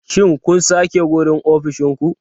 Shin kun sake wurin ofishin ku?